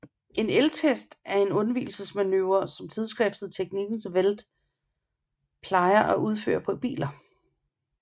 En elgtest er en undvigelsesprøve som tidsskriftet Teknikens Värld plejer at udføre på biler